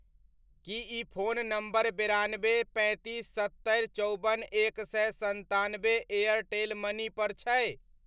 की ई phone number बेरानबे, पैंतीस, सत्तरि, चौबन, एक सए सन्तानबे एयरटेल मनी पर छै?